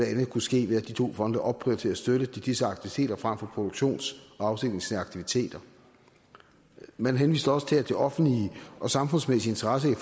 andet kunne ske ved at de to fonde opprioriterede støtte til disse aktiviteter frem for produktions og afsætningsaktiviteter man henviste også til at de offentlige og samfundsmæssige interesser i